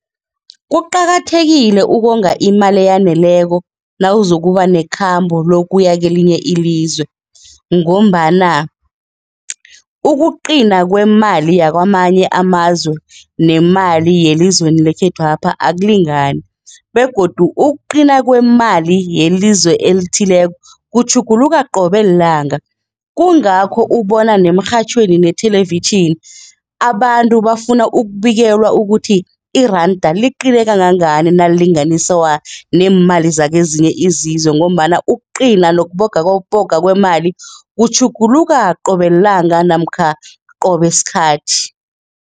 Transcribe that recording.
Kuqakathekile ukonga imali eyaneleko nawuzokuba nekhamba lokuya kelinye ilizwe ngombana ukuqina kwemali yakwamanye amazwe, nemali yelizweni lekhethwapha akulingani begodu ukuqina kwemali yelizwe elithileko kutjhuguluka qobe lilanga. Kungakho ubona nemirhatjhweni nethelevitjhini abantu bafuna ukubikelwa ukuthi iranda liqine kangangani nalilinganiswa neemali zakezinye izizwe ngombana ukuqina nokubogaboga kwemali kutjhuguluka qobe lilanga namkha qobe sikhathi.